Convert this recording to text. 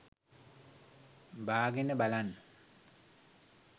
බාගෙන බලන්න.